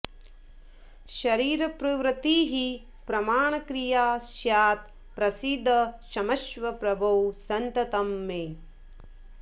शरीरप्रवृत्तिः प्रणामक्रिया स्यात् प्रसीद क्षमस्व प्रभो सन्ततं मे